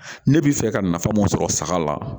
Ne bɛ fɛ ka nafa mun sɔrɔ saga la